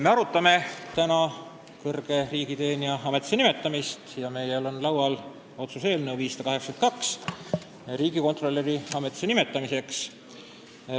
Me arutame täna kõrge riigiteenija ametisse nimetamist ja meil on laual otsuse eelnõu 582 riigikontrolöri ametisse nimetamiseks.